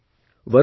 Varun C